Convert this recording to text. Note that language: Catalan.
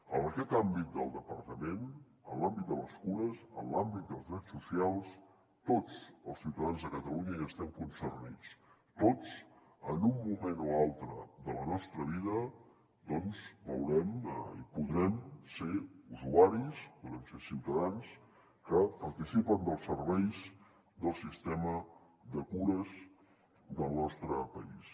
en aquest àmbit del departament en l’àmbit de les cures en l’àmbit dels drets socials tots els ciutadans de catalunya hi estem concernits tots en un moment o altre de la nostra vida doncs veurem i podrem ser usuaris podrem ser ciutadans que participen dels serveis del sistema de cures del nostre país